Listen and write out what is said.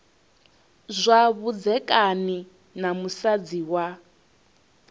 zwa vhudzekani na musadzi wa